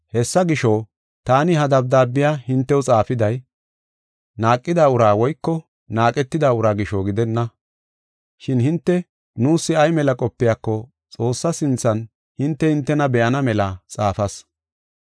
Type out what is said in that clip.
Hessa gisho, taani ha dabdaabiya hintew xaafiday, naaqida ura woyko naaqetida ura gisho gidenna. Shin hinte nuus ay mela qopiyako Xoossa sinthan hinte, hintena be7ana mela xaafas.